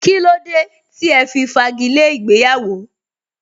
Kílódé tí ẹ fi fagi lé ìgbéyàwó?